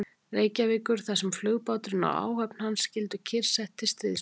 Reykjavíkur, þar sem flugbáturinn og áhöfn hans skyldu kyrrsett til stríðsloka.